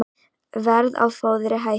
Verð á fóðri hækkar